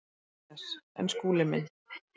MATTHÍAS: En Skúli minn.